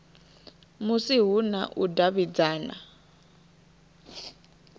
musi hu na u davhidzana